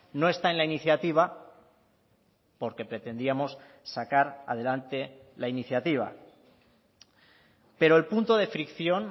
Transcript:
no está en la iniciativa porque pretendíamos sacar adelante la iniciativa pero el punto de fricción